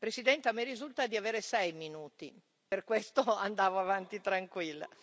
Signor Presidente, a me risulta di avere sei minuti, per questo andavo avanti tranquilla.